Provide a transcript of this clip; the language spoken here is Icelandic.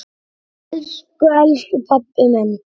Elsku elsku pabbi minn.